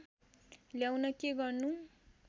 ल्याउन के गर्नु